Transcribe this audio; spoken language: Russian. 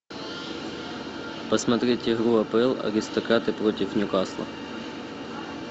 посмотреть игру апл аристократы против ньюкасла